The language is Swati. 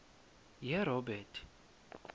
yerobert